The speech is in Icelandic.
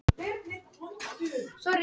Hafa stjórnvöld brugðist lýðræðinu?